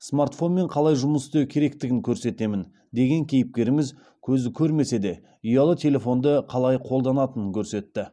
смартфонмен қалай жұмыс істеу керектігін көрсетемін деген кейіпкеріміз көзі көрмесе де ұялы телефонды қалай қолданатынын көрсетті